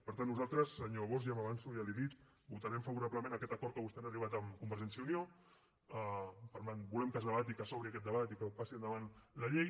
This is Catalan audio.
per tant nosaltres senyor bosch ja m’avanço ja li ho he dit votarem favorablement a aquest acord a què vostès han arribat amb convergència i unió volem que es debati que s’obri aquest debat i que passi endavant la llei